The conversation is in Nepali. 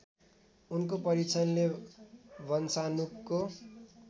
उनको परीक्षणले वंशाणुको